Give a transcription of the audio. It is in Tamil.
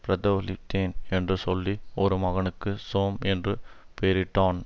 பரதோலித்தேன் என்று சொல்லி ஒரு மகனுக்குக் சோம் என்று பேரிட்டான்